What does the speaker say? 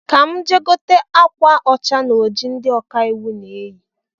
Ka m gaa gote akwa ȯcha na oji ndi ọkaiwu na-eyi